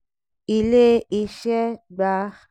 ilé ìṣẹ́ gbà ẹgbẹ̀rún méje dọ́là dọ́là ($7000) ìfìṣòwò fun ọkọ̀ akẹ́rù àtijọ́.